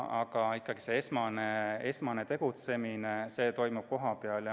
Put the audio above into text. Aga esmane tegutsemine toimub ikkagi kohapeal.